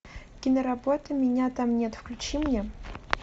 киноработа меня там нет включи мне